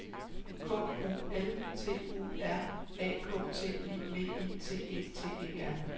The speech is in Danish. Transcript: K U L T U R A K T I V I T E T E R